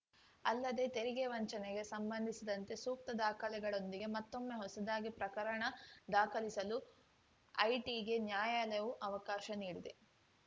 ಅಲ್ಲದೇ ತೆರಿಗೆ ವಂಚನೆಗೆ ಸಂಬಂಧಿಸಿದಂತೆ ಸೂಕ್ತ ದಾಖಲೆಗಳೊಂದಿಗೆ ಮತ್ತೊಮ್ಮೆ ಹೊಸದಾಗಿ ಪ್ರಕರಣ ದಾಖಲಿಸಲು ಐಟಿಗೆ ನ್ಯಾಯಾಲಯವು ಅವಕಾಶ ನೀಡಿದೆ